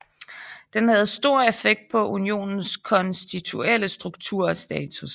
Den havde stor effekt på unionens konstituelle struktur og status